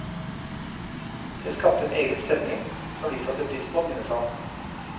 Det skapte en egen stemning, som vi satte pris på, minnes han.